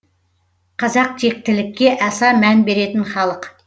қазақ тектілікке аса мән беретін халық